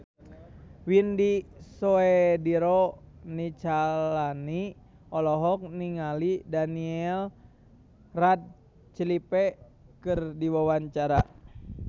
Widy Soediro Nichlany olohok ningali Daniel Radcliffe keur diwawancara